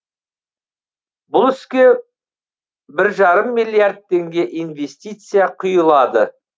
бұл іске бір жарым миллиард теңге инвестиция құйылады